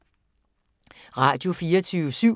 Radio24syv